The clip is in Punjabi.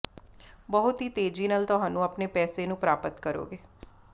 ਬਹੁਤ ਹੀ ਤੇਜ਼ੀ ਨਾਲ ਤੁਹਾਨੂੰ ਆਪਣੇ ਪੈਸੇ ਨੂੰ ਪ੍ਰਾਪਤ ਕਰੋਗੇ